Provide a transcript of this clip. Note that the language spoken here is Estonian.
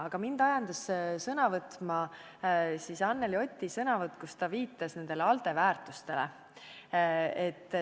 Aga mind ajendas sõna võtma Anneli Oti kõne, kus ta viitas ALDE väärtustele.